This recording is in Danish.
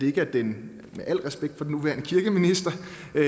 ikke er den med al respekt for den nuværende kirkeminister